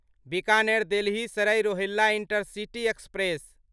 Bikaner Delhi Sarai Rohilla intercity express